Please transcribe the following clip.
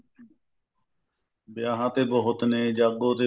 ਵਿਆਹ ਤੇ ਬਹੁਤ ਨੇ ਜਾਗੋ ਤੇ ਬਹੁਤ ਨੇ